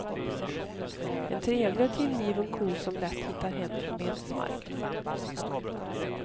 En trevlig och tillgiven ko som lätt hittar hem från betesmarkerna.